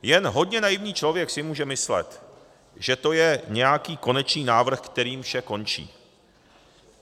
Jen hodně naivní člověk si může myslet, že to je nějaký konečný návrh, kterým vše končí.